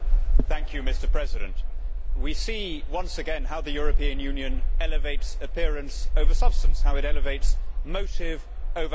Mr President, we see once again how the European Union elevates appearance over substance, how it elevates motive over outcome.